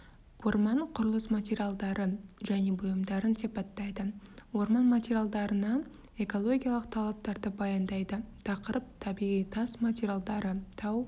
орман құрылыс материалдары және бұйымдарын сипаттайды орман материалдарына экологиялық талаптарды баяндайды тақырып табиғи тас материалдары тау